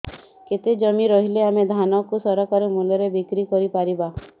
କେତେ ଜମି ରହିଲେ ଆମେ ଧାନ କୁ ସରକାରୀ ମୂଲ୍ଯରେ ବିକ୍ରି କରିପାରିବା